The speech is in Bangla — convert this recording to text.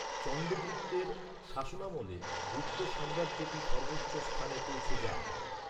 চন্দ্রগুপ্তের শাসনামলে গুপ্ত সাম্রাজ্যটি সর্বোচ্চ স্থানে পৌঁছে যায়।